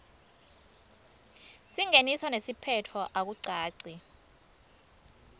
singeniso nesiphetfo akucaci